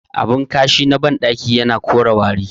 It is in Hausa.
Abin kashi na bandaki yana kore wari